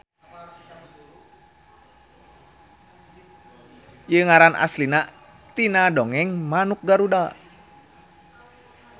Ieu ngaran asalna tina dongeng manuk Garuda.